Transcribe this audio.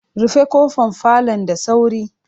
Rufe kofar falon da sauri!